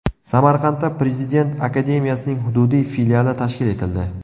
Samarqandda prezident akademiyasining hududiy filiali tashkil etildi.